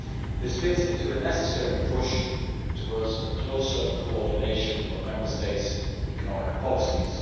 This fits into a necessary push towards a closer coordination of Member States' economic policies.